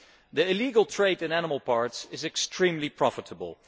The illegal trade in animal parts is extremely profitable.